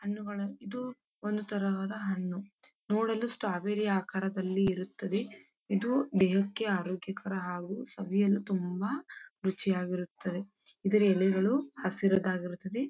ಹನ್ನುಗಳು ಇದು ಒಂದು ತರಹದ ಹಣ್ಣು ನೋಡಲು ಸ್ಟ್ರಾಬೆರಿ ರೀತಿಯಲ್ಲಿ ಇರುತ್ತದೆ ಇದು ದೇಹಕ್ಕೆ ತುಂಬ ಆರೋಗ್ಯಕರ ಹಾಗು ಸವಿಯಲು ತುಂಬ ರುಚಿಯಾಗಿರುತ್ತದೆ ಇದರ ಎಳೆಗಳು ಹಸಿರಿದಾಗಿರುತ್ತದೆ --